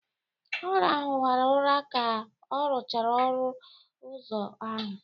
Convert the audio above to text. Ọ rahụwara ụra ka ọ rụchara ọnụ ụzọ ahụ